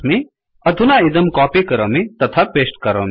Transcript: अधुना इदं कोपी करोमि तथा पेश्ट् करोमि